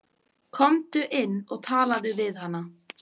Komdu inn og talaðu við hana.